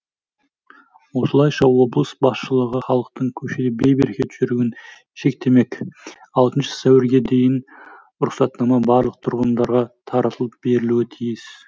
осылайша облыс басшылығы халықтың көшеде бейберекет жүруін шектемек алтыншы сәуірге дейін рұқсатнама барлық тұрғындарға таратылып берілуі тиіс